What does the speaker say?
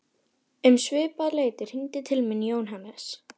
Um svipað leyti hringdi til mín Jóhannes